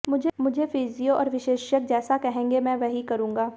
मुझे फिजियो और विशेषज्ञ जैसा कहेंगे मैं वही करूंगा